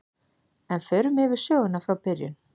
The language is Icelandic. En förum yfir söguna frá byrjun.